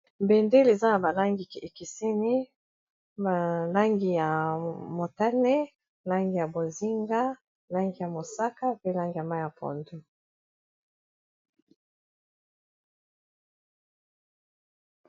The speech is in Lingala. Bendele eza na ba langi ekeseni ba langi ya motane langi ya bozinga langi ya mosaka mpe langi ya mayi ya pondu .